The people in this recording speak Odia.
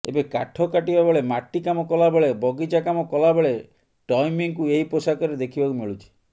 ଏବେ କାଠ କାଟିବାବେଳେ ମାଟି କାମ କଲାବେଳେ ବଗିଚା କାମ କଲାବେଳେ ଟୈମୀଙ୍କୁ ଏହି ପୋଷାକରେ ଦେଖିବାକୁ ମିଳୁଛି